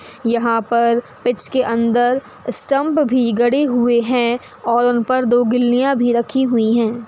यहाँ पर पिच के अंदर स्टम्प भी गड़े हुए हैं और उन पर दो गिल्लियाँ भी रखी हुई हैं।